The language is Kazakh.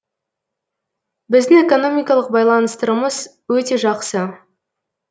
біздің экономикалық байланыстарымыз өте жақсы